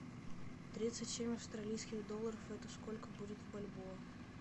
тридцать семь австралийских долларов это сколько будет в бальбоа